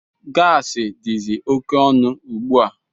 Gaasi dizi oké ọnụ ugbua.